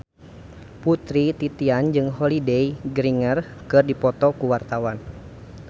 Putri Titian jeung Holliday Grainger keur dipoto ku wartawan